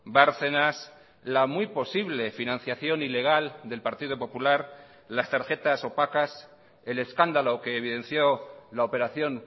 bárcenas la muy posible financiación ilegal del partido popular las tarjetas opacas el escándalo que evidenció la operación